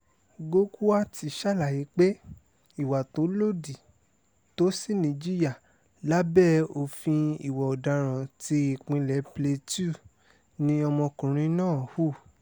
gokwat sàlàyé pé ìwà tó lòdì tó sì níjìyà lábẹ́ òfin ìwà ọ̀daràn ti ìpínlẹ̀ plateau ni ọmọkùnrin náà hù